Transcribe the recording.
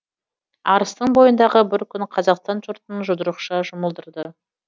арыстың бойындағы бір күн қазақстан жұртын жұдырықша жұмылдырды